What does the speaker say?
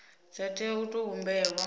dza tea u tou humbelwa